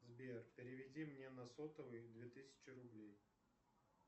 сбер переведи мне на сотовый две тысячи рублей